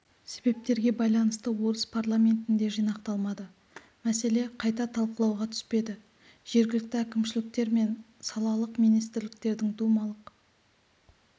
себептерге байланысты орыс парламентінде жинақталмады мәселе қайта талқылауға түспеді жергілікті әкімшіліктер мен салалық министрліктердің думалық